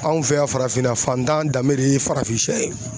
Anw fɛ yan farafinna fantan danbe de ye farafin shɛ ye.